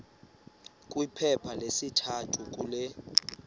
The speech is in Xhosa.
kwiphepha lesithathu kule